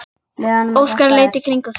Óskar leit í kringum sig.